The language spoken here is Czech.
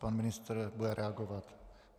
Pan ministr bude reagovat.